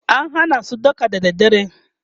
an Hana su daka da dare